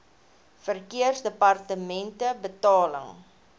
verkeersdepartementebetaling